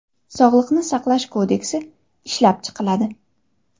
Sog‘liqni saqlash kodeksi ishlab chiqiladi.